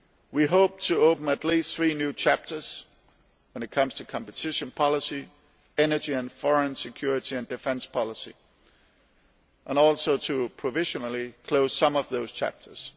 We hope to open at least three new chapters concerning competition policy, energy, and foreign security and defence policy, and also to provisionally close some of those chapters.